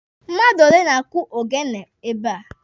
Mmadụ ole na-akụ ogene ebe a?